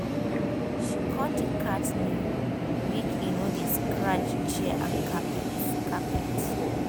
she cut the cat nail make e no dey scratch chair and carpet. carpet.